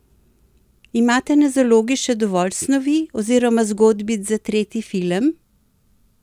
Imate na zalogi še dovolj snovi oziroma zgodbic za tretji film?